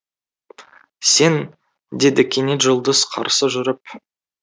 сен деді кенет жұлдыз қарсы жүріп